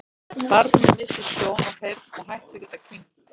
Barnið missir sjón og heyrn og hættir að geta kyngt.